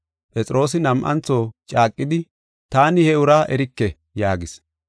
Phexroosi nam7antho caaqidi, “Taani he uraa erike!” yaagis.